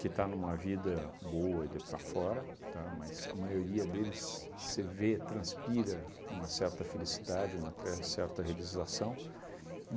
que está numa vida boa e daí para fora, tá, mas a maioria deles você vê, transpira uma certa felicidade, uma tre certa realização.